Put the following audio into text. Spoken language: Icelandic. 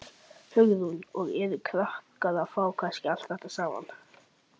Hugrún: Og eru krakkar að fá kannski allt þetta saman?